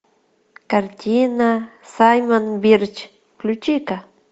картина саймон бирч включи ка